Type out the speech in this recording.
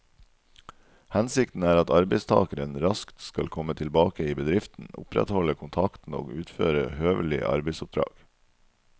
Hensikten er at arbeidstakeren raskt skal komme tilbake i bedriften, opprettholde kontakten og utføre høvelige arbeidsoppdrag.